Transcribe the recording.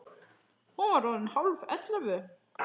Hún var orðin hálf ellefu.